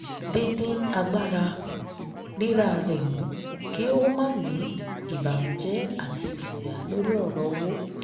dídín agbára rira rẹ̀ mú kí ó máa ní ìbànújẹ àti ìfòyà lórí ọrọ̀ owó